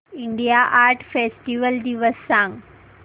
India art festival दिवस सांग